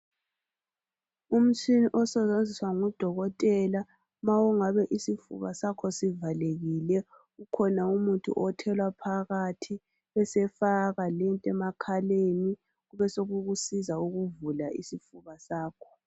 Umtshina osetshenziswa ngudokotela uma usifuba sakho sivalile. Ukhona umuthi othelwa phakathi, abesefaka lento enakhaleni. Besekukusiza ukuvula isifuba sakho.